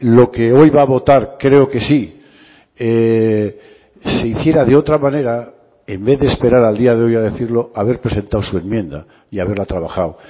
lo que hoy va a votar creo que sí se hiciera de otra manera en vez de esperar al día de hoy a decirlo haber presentado su enmienda y haberla trabajado